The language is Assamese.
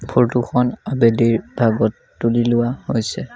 ফটো খন আবেলিৰ ভাগত তুলি লোৱা হৈছে।